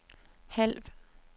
halv